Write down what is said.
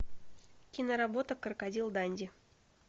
киноработа крокодил данди